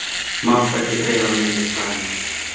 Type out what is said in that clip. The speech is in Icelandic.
Mátti ekki dreifa minnisblaðinu